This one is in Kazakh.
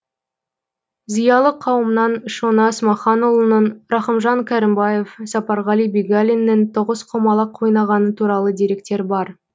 зиялы қауымнан шона смаханұлының рахымжан кәрімбаев сапарғали бегалиннің тоғызқұмалақ ойнағаны туралы деректер бар